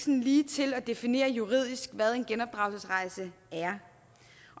ligetil at definere juridisk hvad en genopdragelsesrejse er